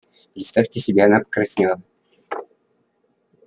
представьте себе она покраснела